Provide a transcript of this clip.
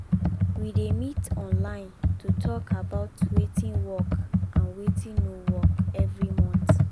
we dey meet online to talk about wetin work and wetin no work every month